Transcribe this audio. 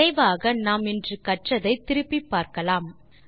விரைவாக நாம் இன்று கற்றதை திருப்பிப்பார்க்கலாம்